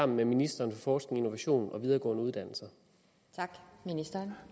med ministeren for forskning innovation og videregående uddannelser